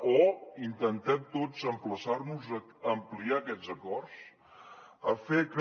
o intentem tots emplaçar nos a ampliar aquests acords a fer que